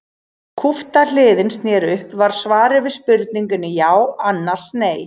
Ef kúpta hliðin sneri upp var svarið við spurningunni já annars nei.